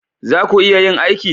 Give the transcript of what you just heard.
Za ku iya yin aiki?